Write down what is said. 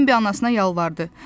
Bembi anasına yalvardı.